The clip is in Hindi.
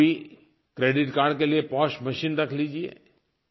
आप भी क्रेडिट कार्ड के लिए पोस मशीन रख लीजिए